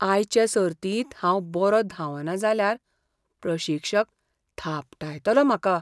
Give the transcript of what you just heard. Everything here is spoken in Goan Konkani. आयचे सर्तींत हांव बरो धांवना जाल्यार प्रशिक्षक थापटायतलो म्हाका.